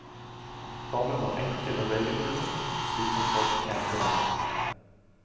Formen var enkel og regelbundet, slik som folk kjente den.